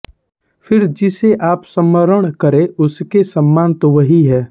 फिर जिसे आप स्मरण करें उसके समान तो वही है